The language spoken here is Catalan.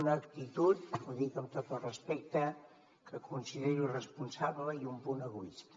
una actitud ho dic amb tot el respecte que considero irresponsable i un punt egoista